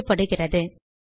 கால் செய்யப்படுகிறது